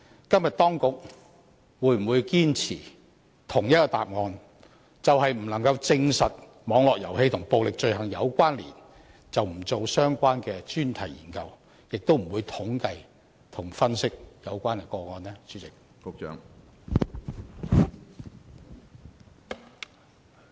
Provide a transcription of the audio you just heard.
今天當局會否堅持相同的答覆，便是基於不能證實網絡遊戲和暴力罪行有關，而不進行相關的專題研究，亦不會統計和分析有關的個案呢？